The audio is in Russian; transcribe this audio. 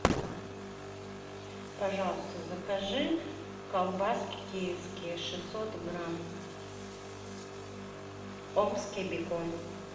пожалуйста закажи колбаски киевские шестьсот грамм омский бекон